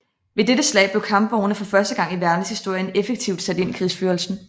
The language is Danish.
Ved dette slag blev kampvogne for første gang i verdenshistorien effektivt sat ind i krigsførelsen